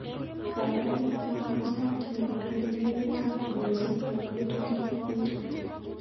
Gaigai mwawon sait nerirei kengeletab ngoeche nebo betutab wiikit